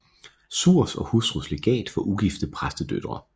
Suhrs og Hustrus Legat for ugifte Præstedøtre